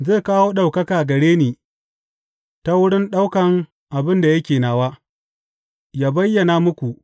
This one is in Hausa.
Zai kawo ɗaukaka gare ni ta wurin ɗaukan abin da yake nawa, ya bayyana muku.